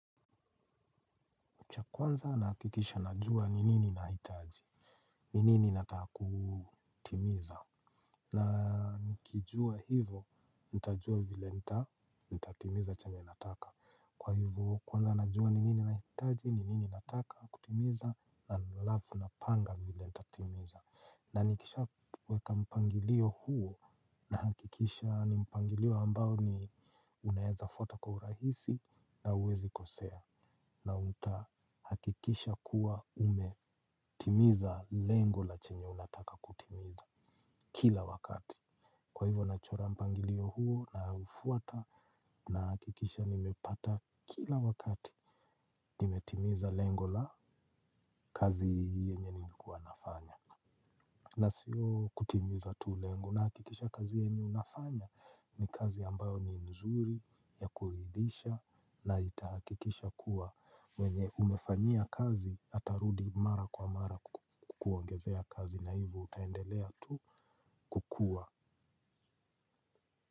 Cha kwanza nahakikisha najua ni nini ninahitaji, ni nini nataka kutimiza. Na nikijua hivo, ntajua vile nita, nitatimiza chenye nataka. Kwa hivo kwanza najua ni nini nahitaji, ni nini nataka kutimiza, halafu napanga vile nitatimiza. Na nikisha weka mpangilio huo nahakikisha nimpangilio ambao ni unaweza fuatwa kwa urahisi na huwezi kosea. Na utahakikisha kuwa umetimiza lengo la chenye unataka kutimiza kila wakati. Kwa hivo na chorampangilio huo naufuata nahakikisha nimepata kila wakati. Nimetimiza lengo la kazi yenye nilikuwa nafanya. Na sio kutimiza tu lengo nahakikisha kazi yenye unafanya ni kazi ambayo ni nzuri ya kuridhisha. Na itahakikisha kuwa mwenye umefanyia kazi atarudi mara kwa mara kukuongezea kazi. Na hivo utaendelea tu kukuwa.